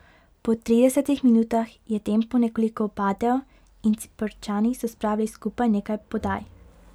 Po tridesetih minutah je tempo nekoliko upadel in Ciprčani so spravili skupaj nekaj podaj.